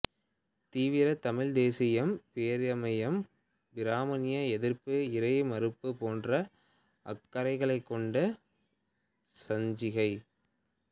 தீவிர தமிழ்த் தேசியம் பெரியாரியம் பிராமணிய எதிர்ப்பு இறை மறுப்பு போன்ற அக்கறைகளைக் கொண்ட சஞ்சிகை